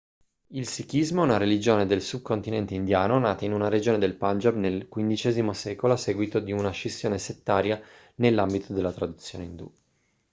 il sikhismo è una religione del subcontinente indiano nata in una regione del punjab nel xv secolo a seguito di una scissione settaria nell'ambito della tradizione indù